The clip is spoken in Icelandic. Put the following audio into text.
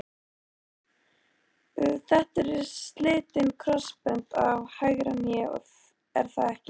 Þetta eru slitin krossbönd á hægra hné er það ekki?